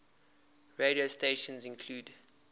radio stations include